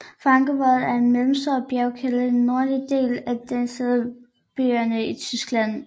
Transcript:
Frankenwald er en mellemstor bjergkæde i den nordlige del af delstaten Bayern i Tyskland